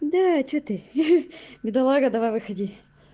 да что ты хи бедолага давай выходи